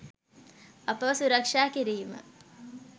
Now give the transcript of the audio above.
අපව සුරක්ෂා කිරීම.